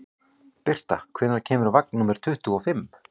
Birta, hvenær kemur vagn númer tuttugu og fimm?